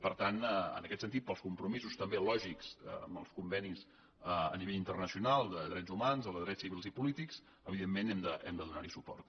per tant en aquest sentit pels compromisos també lògics amb els convenis a nivell internacional de drets humans o de drets civils i polítics evidentment hem de donar hi suport